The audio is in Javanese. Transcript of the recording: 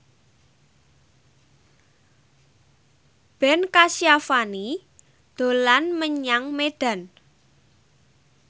Ben Kasyafani dolan menyang Medan